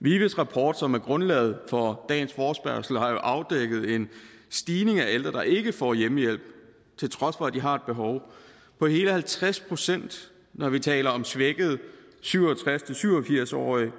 vives rapport som er grundlaget for dagens forespørgsel har jo afdækket en stigning i antallet af ældre der ikke får hjemmehjælp til trods for at de har et behov på hele halvtreds pct når vi taler om svækkede syv og tres til syv og firs årige